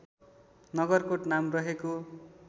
नगरकोट नाम रहेको